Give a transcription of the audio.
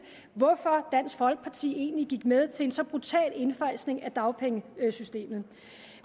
hvorfor dansk folkeparti egentlig gik med til en så brutal indfasning af dagpengesystemet